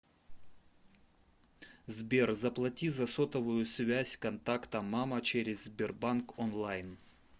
сбер заплати за сотовую связь контакта мама через сбербанк онлайн